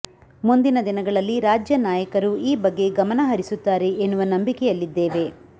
ಮುಂದಿನ ದಿನಗಳಲ್ಲಿ ರಾಜ್ಯ ನಾಯಕರು ಈ ಬಗ್ಗೆ ಗಮನ ಹರಿಸುತ್ತಾರೆ ಎನ್ನುವ ನಂಬಿಕೆಯಲ್ಲಿದ್ದೇವೆ